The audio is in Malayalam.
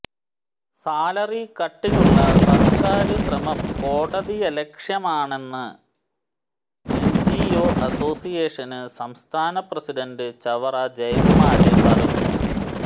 സാലറി കട്ടിനുള്ള സര്ക്കാര് ശ്രമം കോടതിയലക്ഷ്യമാണെന്ന് എന്ജിഒ അസോസിയേഷന് സംസ്ഥാന പ്രസിഡന്റ് ചവറ ജയകുമാര് പറഞ്ഞു